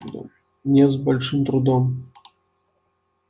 нет с большим трудом